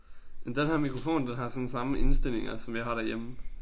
Men den her mikrofon den har sådan samme indstillinger som jeg har derhjemme